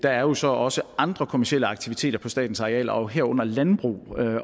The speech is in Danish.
er jo så også andre kommercielle aktiviteter på statens arealer og herunder landbrug